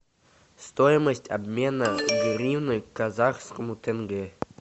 стоимость обмена гривны к казахскому тенге